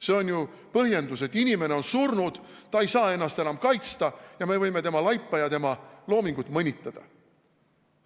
See ei ole ju põhjendus, et inimene on surnud, ta ei saa ennast enam kaitsta ja me võime tema laipa ja tema loomingut mõnitada.